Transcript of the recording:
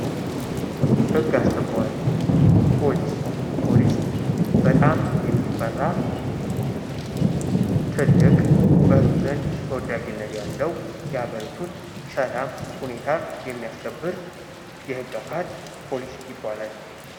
ህግ አስከባሪ፦ ፖሊስ ፦ፖሊስ በጣም የሚፈራ ትልቅ በህዝቡ ዘንድ ተወዳጅነት ያለው የሀገሪቱን ሰላም ሁኔታ የሚያስከብር የህግ አካል ፖሊስ ይባላል።